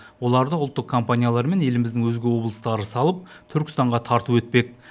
оларды ұлттық компаниялар мен еліміздің өзге облыстары салып түркістанға тарту етпек